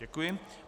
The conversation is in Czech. Děkuji.